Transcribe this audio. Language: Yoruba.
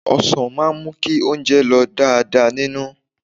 Ọ̀sàn máa ń mú kí oúnjẹ lọ̀ dáadáa nínú.